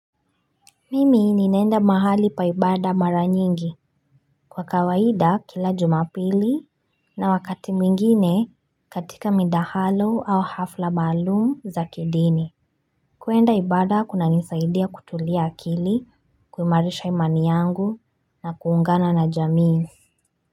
Mimi ninaenda mahali pa ibada mara nyingi kwa kawaida kila jumapili na wakati mwingine katika midahalo au hafla maalum za kidini kuenda ibada kunanisaidia kutulia akili kuimarisha imani yangu na kuungana na jamii.